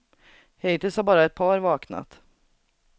Hittills har bara ett par vaknat.